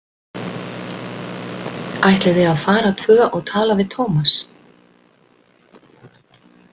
Ætlið þið að fara tvö og tala við Tómas?